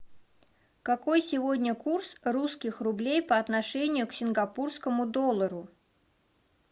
какой сегодня курс русских рублей по отношению к сингапурскому доллару